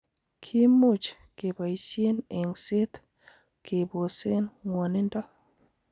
Kimuch keboisien eng'set kebosen ng'wonindo.